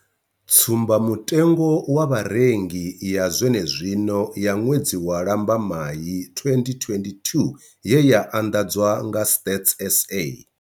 Tsumba mutengo wa Vharengi ya zwene zwino ya ṅwedzi wa Lambamai 2022 ye ya anḓadzwa nga Stats SA.